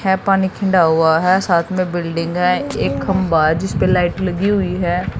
पानी ठंडा हुआ है साथ में बिल्डिंग है एक खंबा है जिस पे लाइट लगी हुई है।